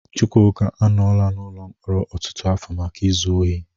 Chukwuka anọọla n'ụlọ mkpọrọ ọtụtụ afọ maka izu ohi.